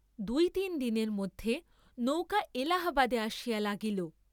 দুই তিন দিনের মধ্যে নৌকা এলাহাবাদে আসিয়া লাগিল।